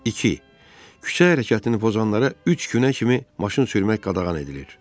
İki, küçə hərəkətini pozanlara üç günə kimi maşın sürmək qadağan edilir.